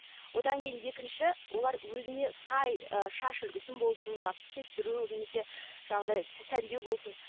одан кейін екінші олар өзіңе сай ы шаш үлгісін болсын мысалы кестіру немесе жаңағыдай сәндеу болсын